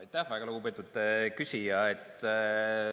Aitäh, väga lugupeetud küsija!